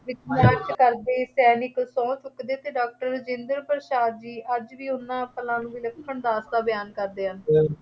ਵਿੱਚ ਮਾਰਚ ਕਰਦੇ ਸੈਨਿਕ, ਸਹੁੰ ਚੁੱਕਦੇ ਅਤੇ ਡਾਕਟਰ ਰਾਜਿੰਦਰ ਪ੍ਰਸਾਦ ਜੀ ਅੱਜ ਵੀ ਉਨ੍ਹਾਂ ਪਲਾਂ ਦੀ ਵਿਲੱਖਣ ਦਾਸਤਾਂ ਬਿਆਨ ਕਰਦੇ ਹਨ।